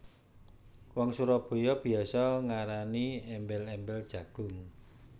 Wong Surabaya biasa ngarani embel embel jagung